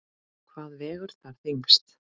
Hvað vegur þar þyngst?